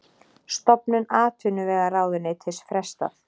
Stofnun atvinnuvegaráðuneytis frestað